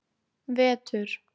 vetur